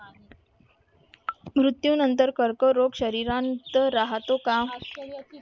मृत्यूनंतर कर्करोग शरीरात राहतो का?